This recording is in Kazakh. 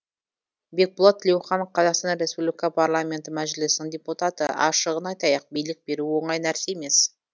бекболат тілеухан қазақстан республика парламенті мәжілісінің депутаты ашығын айтайық билік беру оңай нәрсе емес